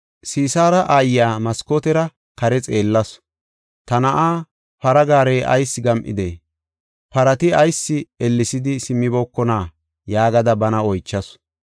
Sisaara aayiya maskootera kare xeellasu; “Ta na7aa para gaarey ayis gam7idee? Parati ayis ellesidi simmibokona?” yaagada bana oychasu.